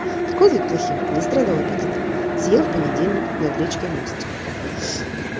козлик плохим не страдал аппетитом съел в понедельник над речкой мостик